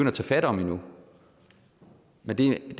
at tage fat om endnu men det er i